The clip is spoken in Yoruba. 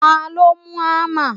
taló mú hámà?